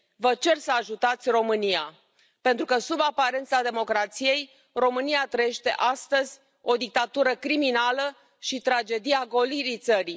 Vă cer să ajutați România pentru că, sub aparența democrației, România trăiește astăzi o dictatură criminală și tragedia golirii țării.